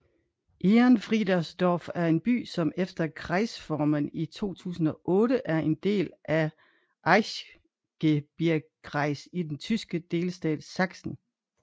Ehrenfriedersdorf er en by som efter Kreisreformen i 2008 er en del af Erzgebirgskreis i den tyske delstat Sachsen